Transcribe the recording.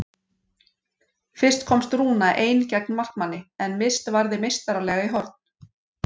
Fyrst komst Rúna ein gegn markmanni en Mist varði meistaralega í horn.